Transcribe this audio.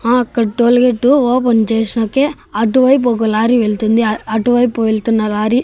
ఆ అక్కడ tollgate open చేస్నాకే అటువైపు ఒక లారీ వెళ్తుంది అటువైపు వెళ్తున్న లారీ --